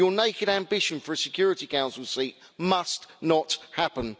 Your naked ambition for a Security Council seat must not happen.